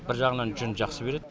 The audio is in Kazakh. бір жағынан жүнді жақсы береді